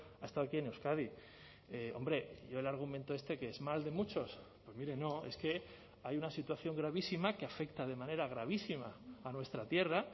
ha estado aquí en euskadi hombre yo el argumento este qué es mal de muchos pues mire no es que hay una situación gravísima que afecta de manera gravísima a nuestra tierra